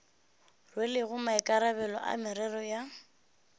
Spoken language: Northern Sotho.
rwelego maikarabelo a merero ya